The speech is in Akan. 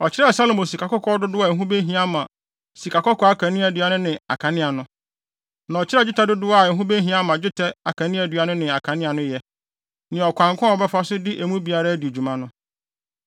Ɔkyerɛɛ Salomo sikakɔkɔɔ dodow a ɛho behia ama sikakɔkɔɔ akaneadua no ne akanea no, na ɔkyerɛɛ dwetɛ dodow a ɛho behia ama dwetɛ akaneadua no ne akanea no yɛ, ne ɔkwan ko a wɔbɛfa so de emu biara adi dwuma no.